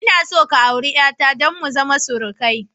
Ina son ka auri 'yata don mu zama surukai